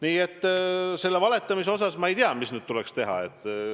Nii et mis puutub valetamisse, siis ma ei tea, mis nüüd tuleks teha.